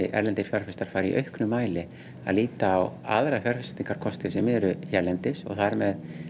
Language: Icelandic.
erlendir fjárfestar fari í auknum mæli að líta á aðra fjárfestingakosti sem eru hérlendis þar með